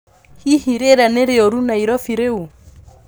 hĩhĩ rĩera ni riurũ nairobi rĩu